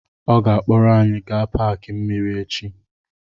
Ọ ga-akpọrọ anyị gaa paaki mmiri echi.